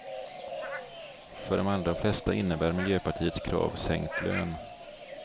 För de allra flesta innebär miljöpartiets krav sänkt lön.